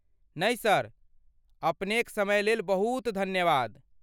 नहि ,सर। अपनेक समयलेल बहुत धन्यवाद!